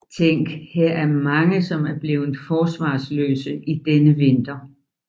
Tænk her er mange som er bleven forsvarsløse i denne vinter